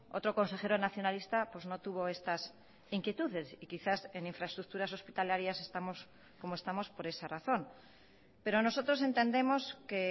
otro consejero nacionalista pues no tuvo estas inquietudes y quizás en infraestructuras hospitalarias estamos como estamos por esa razón pero nosotros entendemos que